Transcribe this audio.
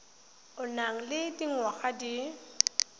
o nang le dingwaga di